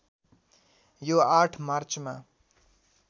यो ८ मार्चमा